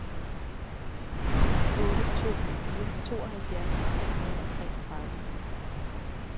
ni otte to fire tooghalvfjerds tre hundrede og treogtredive